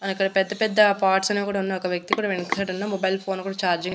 అవునక్క పెద్ద పెద్ద పార్ట్స్ అనేవి కూడా ఉన్నా ఒకవ్యక్తి కూడా వెనక సైడ్ ఉన్న మొబైల్ ఫోన్ కూడా చార్జింగ్ --